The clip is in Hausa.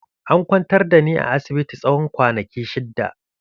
An kwantar da ni a asibiti tsawon kwanaki shidda.